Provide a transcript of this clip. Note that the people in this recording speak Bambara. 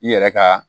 I yɛrɛ ka